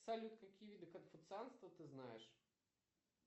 салют какие виды конфуцианства ты знаешь